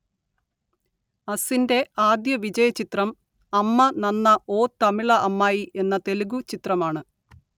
അസിൻറെ ആദ്യ വിജയചിത്രം അമ്മ നന്ന ഓ തമിള അമ്മായി എന്ന തെലുഗു ചിത്രമാണ്